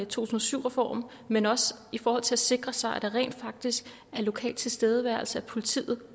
tusind og syv reformen men også i forhold til at sikre sig at der rent faktisk er lokal tilstedeværelse af politiet